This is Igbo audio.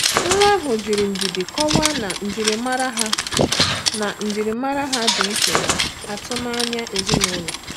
Nwa ahụ jiri ndidi kọwaa na njirimara ha na njirimara ha di iche na atụmanya ezinụlọ.